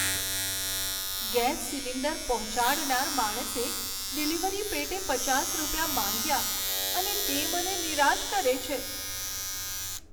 Gas cylinder પહોંચાડનાર માણસે delivery પેટે પચાસ રૂપિયા માંગ્યા અને તે મને નિરાશ કરે છે.